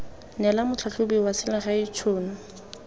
neela motlhatlhobi wa selegae tšhono